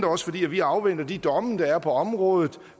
også fordi vi afventer de domme der er på området